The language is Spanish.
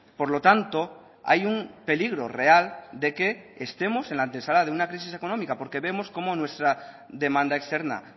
por lo tanto hay un peligro real de que estemos en la antesala de una crisis económica porque vemos cómo nuestra demanda externa